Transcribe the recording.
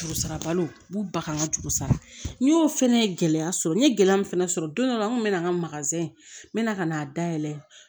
Juru sara balo b'u ba kan n ka juru sara n y'o fɛnɛ ye gɛlɛya sɔrɔ n ye gɛlɛya min fana sɔrɔ don dɔ n kun bɛ na n ka n mɛna ka n'a dayɛlɛ